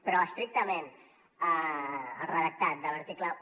però estrictament el redactat de l’article un